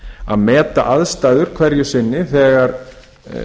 að meta aðstæður hverju sinni þegar